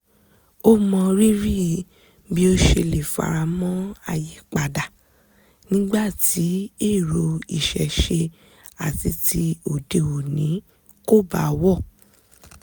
ó mọ rírì bí ó ṣe lè faramọ́ ayípadà nígbà tí èrò ìṣẹ̀ṣe àti ti òde òní kò bá wọ̀